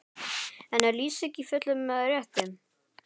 En er Lýsing í fullum rétti?